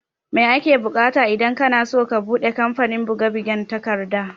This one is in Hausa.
Mai ake bukata idan kanaso ka buɗe kamfanin buge bugen takarda?